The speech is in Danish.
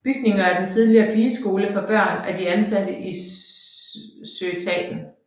Bygningen er den tidligere pigeskole for børn af de ansatte i Søetaten